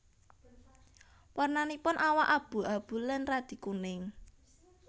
Warnanipun awak abu abu lan radi kuning